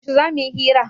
Yaushe za mu yi hira?